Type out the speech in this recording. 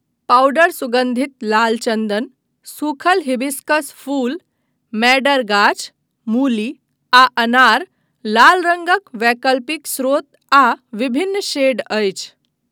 Powder सुगंधित लाल चन्दन, सूखल हिबिस्कस फूल, मैडर गाछ, मूली, आ अनार लाल रङ्गक वैकल्पिक स्रोत आ विभिन्न शेड अछि।